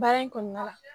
Baara in kɔnɔna la